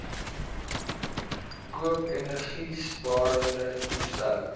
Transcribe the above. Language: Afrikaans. koop energiesparende toestelle